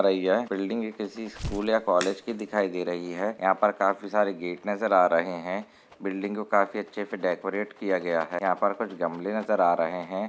Building एक ऐसी school या कॉलेज की दिखाई दे रही है यहाँ पर काफी सारे गेट नजर आ रहे है बिल्डिंग को काफी अच्छेसे डेकोरेट किया गया है यहाँ पर कुछ गमले नजर आ रहे है।